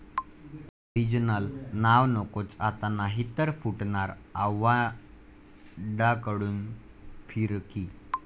original नाव नकोच आता, नाही तर फुटणार,' आव्हाडांकडून फिरकी